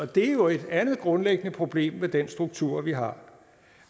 det er jo et andet grundlæggende problem ved den struktur vi har